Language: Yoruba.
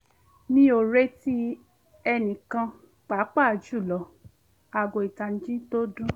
mi ò retí ènìyàn pàápàá jùlọ kí aago ìtanijí tó dún